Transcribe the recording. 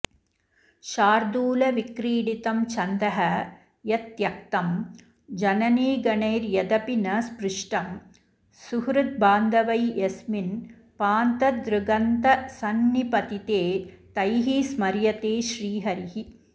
शार्दूलविक्रीडितं छन्दः यत्त्यक्तं जननीगणैर्यदपि न स्पृष्टं सुहद्वान्धवै यस्मिन् पान्थदृगन्तसन्निपतिते तैः स्मर्यते श्रीहरिः